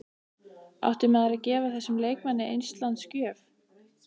Átti maður að gefa þessum leikmanni eistlands gjöf?